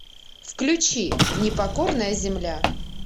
включи непокорная земля